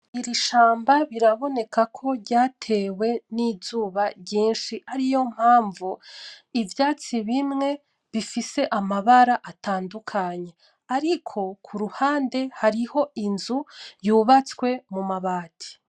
Iri shamba biraboneka ko ryatewe n'izuba ryinshi ariyo mpamvu ivyatsi bimwe bifise amabara atandukanye. Ariko kuruhande hariho inzu yubatswe mu mabati.